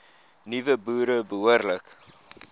nuwe boere behoorlik